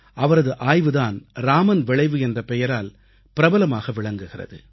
அவரது ஆய்வு தான் ராமன் விளைவு என்ற பெயரால் பிரபலமாக விளங்குகிறது